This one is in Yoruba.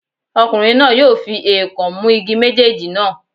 Ọkùnrin náà yóò fi èèkàn mú igi méjèèjì náà.